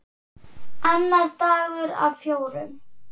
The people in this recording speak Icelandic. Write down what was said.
Annar dagur af fjórum.